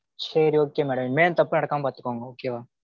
சேரி okay madam இனிமே இந்த தப்பு நடக்காம பாத்துக்கோங்க okay வா?